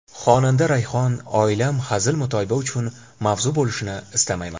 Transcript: Xonanda Rayhon: Oilam hazil-mutoyiba uchun mavzu bo‘lishini istamayman.